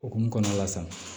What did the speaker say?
Okumu kɔnɔna la san